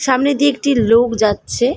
সামনে দিয়ে একটি লোক যাচ্ছে।